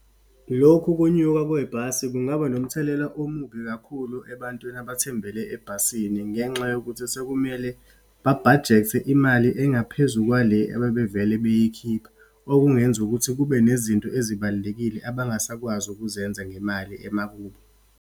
Lokhu ukunyuka kwebhasi kungaba nomthelela omubi kakhulu ebantwini abathembele ebhasini, ngenxa yokuthi sekumele babhajethe imali engaphezu kwale abebevele beyikhipha. Okungenza ukuthi kube nezinto ezibalulekile abangasakwazi ukuzenza ngemali emakubo.